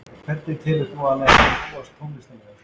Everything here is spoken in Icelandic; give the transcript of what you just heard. Hvernig telur þú að hann hefði þróast tónlistarlega?